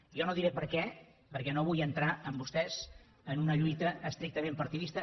jo no diré per què perquè no vull entrar amb vostès en una lluita estrictament partidista